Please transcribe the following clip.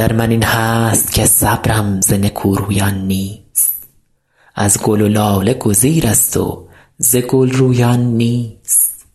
در من این هست که صبرم ز نکورویان نیست از گل و لاله گزیرست و ز گل رویان نیست